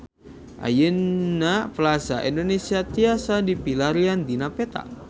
Ayeuna Plaza Indonesia tiasa dipilarian dina peta